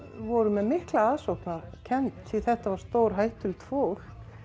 voru með mikla ofsóknarkennd því þetta var stórhættulegt fólk